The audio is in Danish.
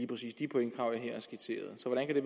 præcis de pointkrav jeg her har skitseret